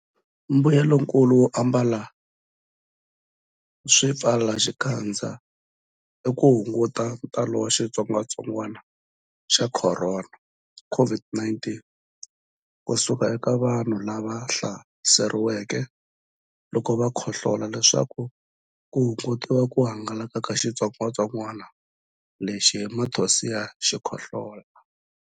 Mbuyelonkulu wo ambala swipfalaxikandza i ku hunguta ntalo wa xitsongwantsongwana xa Khorona, COVID-19 ku suka eka vanhu lava hlaseriweke loko va khohlola leswaku ku hungutiwa ku hangalaka ka xitsongwantsongwana lexi hi mathonsi ya xikhohlola.